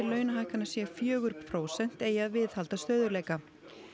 launahækkana sé fjögur prósent eigi að viðhalda stöðugleika